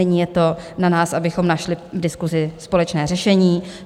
Nyní je to na nás, abychom našli v diskusi společné řešení.